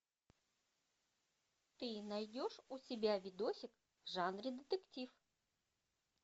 ты найдешь у себя видосик в жанре детектив